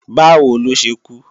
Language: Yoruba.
Báwo ló ṣe kú?